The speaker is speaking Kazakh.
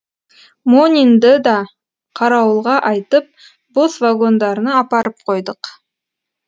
монинды да қарауылға айтып бос вагондарына апарып қойдық